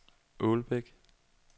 Ålbæk